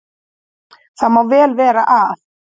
Það má vel vera að